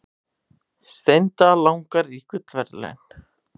Steinda langar í gullverðlaun